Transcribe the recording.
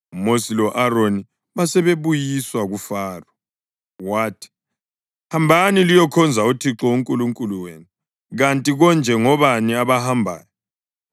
UMosi lo-Aroni basebebuyiswa kuFaro. Wathi, “Hambani liyokhonza uThixo uNkulunkulu wenu. Kanti konje ngobani abahambayo?”